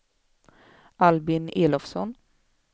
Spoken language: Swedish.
Albin Elofsson